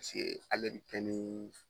Paseke ale